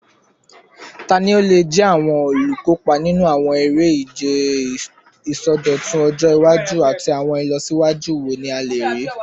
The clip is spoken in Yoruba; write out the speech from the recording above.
Tani o le jẹ awọn olukopa ninu awọn ere-ije isọdọtun ọjọ iwaju, ati awọn ilọsiwaju wo ni a le rii?